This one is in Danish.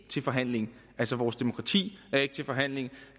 til forhandling altså vores demokrati er ikke til forhandling